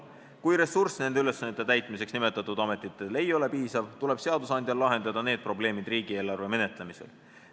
Kui ressurss nende ülesannete täitmiseks nimetatud ametitel ei ole piisav, tuleb seadusandjal lahendada need probleemid riigieelarve menetlemisel.